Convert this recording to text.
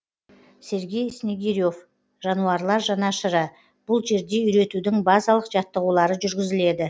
сергей снегире в жануарлар жанашыры бұл жерде үйретудің базалық жаттығулары жүргізіледі